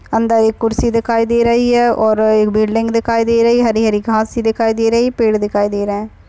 अंदर एक खुर्सी दिखाई दे रही है और एक बिल्डिंग दिखाई दे रही है। हरी हरी घासे दिखाई दे रही है। पेड़ दिखाई दे रहै।